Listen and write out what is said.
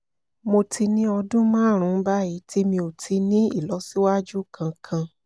mo ti ní ọdún márùn-ún báyìí tí mi ò ti ní ìlọsíwájú kankan